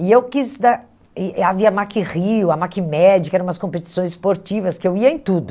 E eu quis... Havia a Mack Rio, a Mack Médica, eram umas competições esportivas que eu ia em tudo.